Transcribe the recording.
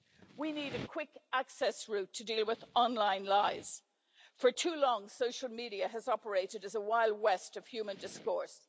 We need a quick-access route to deal with online lies. For too long, social media has operated as a Wild West of human discourse.